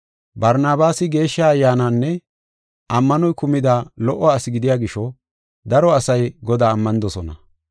Barnabaasi Geeshsha Ayyaanaynne ammanoy kumida lo77o asi gidiya gisho daro asay Godaa ammanidosona.